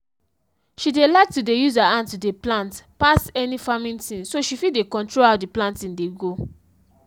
she dey like to dey use her hand to dey plant pass any farming thing so she fit dey control how d planting dey go.